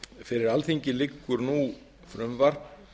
fyrir alþingi liggur nú frumvarp